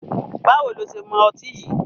Báwo lo ṣe mọ ọtí yìí?